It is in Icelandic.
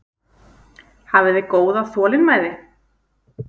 Hafiði góða þolinmæði?